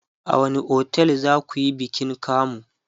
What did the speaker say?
a wani otel zakuyi bikin kamu?